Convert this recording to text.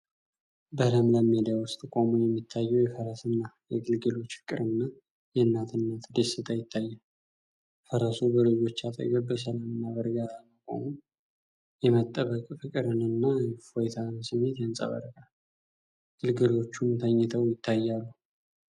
በለምለም ሜዳ ውስጥ ቆሞ የሚታየው የፈረስና የግልገሎች ፍቅርና የእናትነት ደስታ ይታያል። ፈረሱ በልጆቹ አጠገብ በሰላምና በእርጋታ መቆሙ የመጠበቅ ፍቅርንና የእፎይታን ስሜት ያንጸባርቃል፣ ግልገሎቹም ተኝተው ይታያሉ።